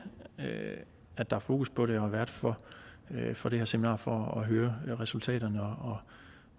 at der er fokus på det og er vært for for det her seminar for at høre resultaterne